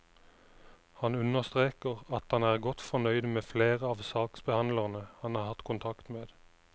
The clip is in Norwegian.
Han understreker at han er godt fornøyd med flere av saksbehandlerne han har hatt kontakt med.